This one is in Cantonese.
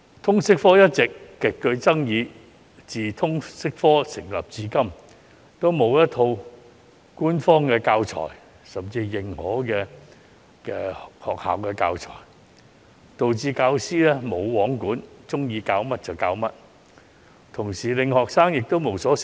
通識科一直極具爭議，由推行至今都沒有一套官方教材，甚至沒有認可的學校教材，導致教師"無皇管"，喜歡教甚麼便教甚麼，亦令學生無所適從。